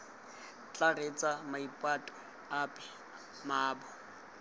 tla reetsa maipato ape mmaabo